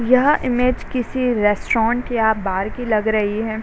यह इमेज किसी रेस्टोरेंट या बार की लग रही है।